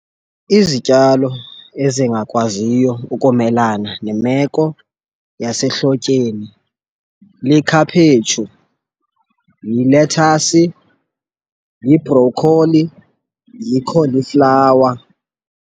Izityalo ezingakwaziyo ukumelana nemeko yasehlotyeni likhaphetshu, yilethasi, yibhrokholi, yikholiflawa.